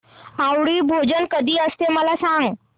आवळी भोजन कधी असते मला सांग